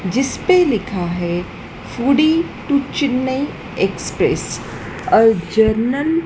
जिसपे लिखा है फूडी टू चेन्नई एक्सप्रेस और जरनल --